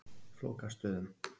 Flókastöðum